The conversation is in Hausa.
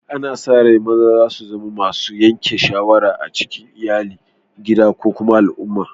Ana sa rai maza su zama masun yanke shawarar a cikin Iyalli, gida ko kuma al'umma.